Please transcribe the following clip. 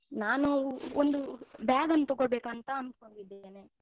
ನಾನು ಒಂದು bag ಅನ್ನು ತೊಗೊಳ್ಬೇಕಂತ ಅನ್ಕೊಂಡಿದ್ದೇನೆ.